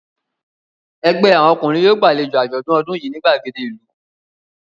Ẹgbẹ́ àwọn ọkùnrin yóò gbàlejò àjọ̀dún ọdún yìí ní ìgbàgede ìlú.